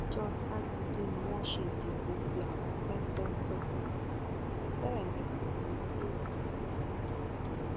ọjọ sátidé ni wọn ṣe ìdìbò tí àwọn ṣèǹtẹtò bẹẹ ní kò tún sí èsì